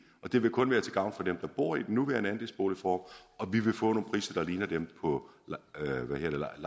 og det vil kun være til gavn for dem der bor i den nuværende andelsboligform og vi vil få nogle priser der ligner dem på